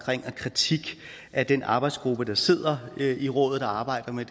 kritik af den arbejdsgruppe der sidder i rådet og arbejder med